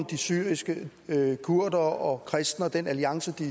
de syriske kurdere og kristne og den alliance de